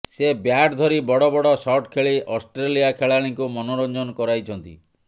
ସେ ବ୍ୟାଟ୍ ଧରି ବଡ଼ ବଡ଼ ସଟ୍ ଖେଳି ଅଷ୍ଟ୍ରେଲିଆ ଖେଳାଳିଙ୍କୁ ମନୋରଞ୍ଜନ କରାଇଛନ୍ତି